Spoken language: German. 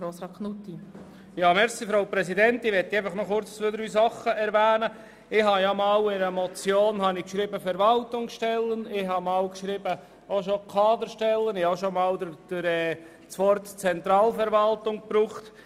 Ich habe einmal in einer Motion «Verwaltungsstellen» geschrieben, ein andermal habe ich von «Kaderstellen» gesprochen, und einmal habe ich das Wort «Zentralverwaltung» verwendet.